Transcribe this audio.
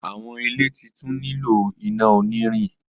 Awọn ile nilo titun ina onirin